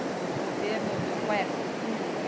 do governo do Quercia. Hum